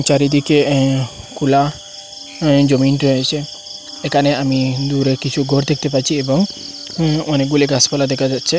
চারিদিকে এ খোলা এ জমিন রয়েছে এখানে আমি দূরে কিছু ঘর দেখতে পাচ্ছি এবং উম অনেকগুলি গাছপালা দেখা যাচ্ছে।